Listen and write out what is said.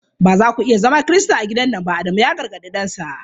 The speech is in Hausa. Ba za ku iya zama Kirista a gidan nan ba! Adamu ya gargadi dansa.